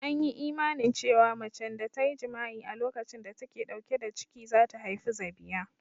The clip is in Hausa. An yi imanin cewa macen da ta yi jima'i a lokacin da ta ke ɗauke da ciki za ta haifi zabiya